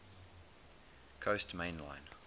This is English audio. coast main line